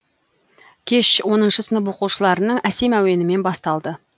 кеш оныншы сынып оқушыларының әсем әуенімен басталды